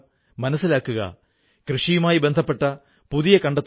ഇന്ന് ഹിന്ദുസ്ഥാനിലെ എല്ലാ ഭാഷയിലും തിരുക്കുറൾ ലഭ്യമാണ്